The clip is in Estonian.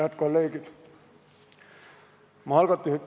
Head kolleegid!